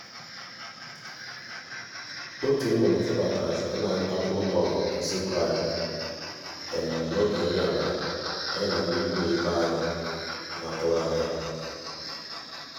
otu nnụnụ febatara site na ntapu ụlọ usekwu anyị um n'oge nri abalị anyị na na ndị ikwu na ibe anyị n'atụghị anya ha.